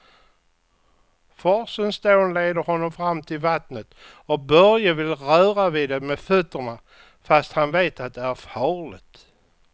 Forsens dån leder honom fram till vattnet och Börje vill röra vid det med fötterna, fast han vet att det är farligt.